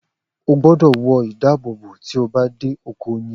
O gbọ́dọ̀ wọ ìdábòbò tí a bá dé oko oyin.